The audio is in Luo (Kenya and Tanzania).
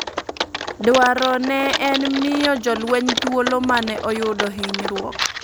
Dwaro ne en miyo jo lweny thuolo mane oyudo hinyruok ,